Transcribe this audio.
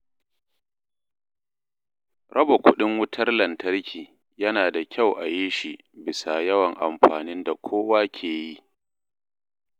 Raba kuɗin wutar lantarki yana da kyau a yi shi bisa yawan amfanin da kowa ke yi.